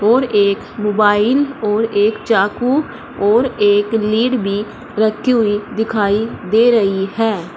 और एक मोबाइल और एक चाकू और एक लीड भी रखी हुई दिखाई दे रही है।